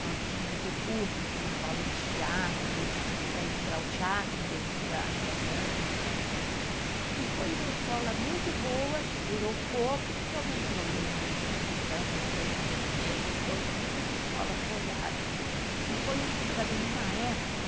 nós tínhamos o curso que dava aula de teatro para entrar o teatro dentro da dança e foi uma escola muito boa que durou pouco porque houve um problema de recessão não lembro do que que foi que muitas escolas rodaram e foi também uma época